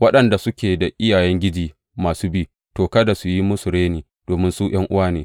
Waɗanda suke da iyayengiji masu bi, to, kada su yi musu reni domin su ’yan’uwa ne.